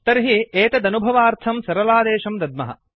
तर्हि एतदनुभवार्थं सरलादेशं दद्मः